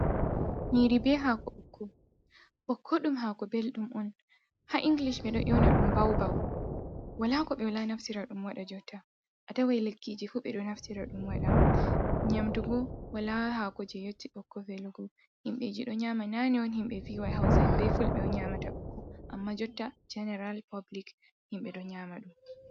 Nyiri be hako ɓokko, ɓokko ɗum hako bellɗum on ha inglish be do ewna dum baubaw, wala ko ɓe wala naftira ɗum waɗa, jotta a tawai lekkiji fuu ɓe ɗo naftira ɗum wada, nyamdugo wala hako je yotti ɓokko velgo himɓeji ɗo nyama nane on himɓe ferai hausain be fulbe o nyamata ɓokko, amma jotta jeneral public himɓe ɗo nyama ɗum.